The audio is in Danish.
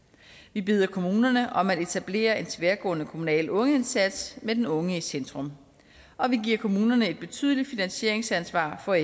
vi beder kommunerne om at etablere en tværgående kommunal ungeindsats med den unge i centrum og vi giver kommunerne et betydeligt finansieringsansvar for